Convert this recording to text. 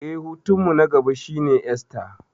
Eh, hutunmu na gaba shine Esta.